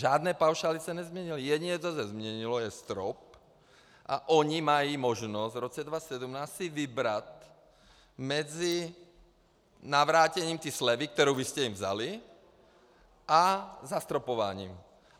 Žádné paušály se nezměnily, jediné, co se změnilo, je strop, a oni mají možnost v roce 2017 si vybrat mezi navrácením té slevy, kterou vy jste jim vzali, a zastropováním.